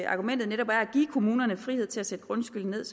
argumentet netop er at give kommunerne frihed til at sætte grundskylden ned